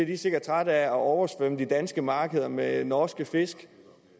de sikkert trætte af at oversvømme det danske marked med norske fisk